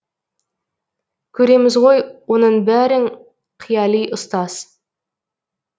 көреміз ғой оның бәрін қияли ұстаз